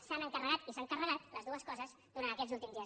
s’han encarregat i s’han carregat les dues coses durant aquests últims dies